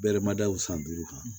Bɛɛrɛ ma da u san duuru kan